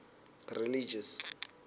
religious